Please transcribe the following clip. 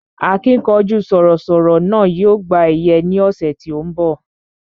Akínkanjú sọ̀rọ̀ sọ̀rọ̀ náà yóò gba ẹ̀yẹ ní ọ̀sẹ̀ tí ó ń bọ̀